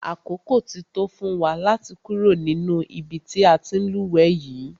Àkókò ti tó fún wa láti kúrò nínú ibi tí a ti ń lúwẹ̀ẹ́ yìí.